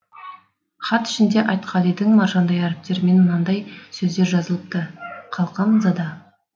хат ішінде айтқалидың маржандай әріптерімен мынадаи сөздер жазылыпты қалқам зада